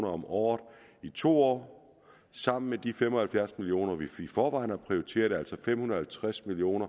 om året i to år sammen med de fem og halvfjerds million kr som vi i forvejen har prioriteret altså fem hundrede og halvtreds million